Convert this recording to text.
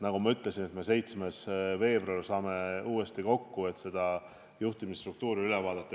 Nagu ma ütlesin, saame me 7. veebruaril uuesti kokku, et juhtimisstruktuur üle vaadata.